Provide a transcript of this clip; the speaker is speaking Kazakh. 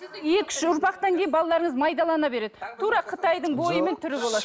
екі үш ұрпақтан кейін балаларыңыз майдалана береді тура қытайдың бойы мен түрі болады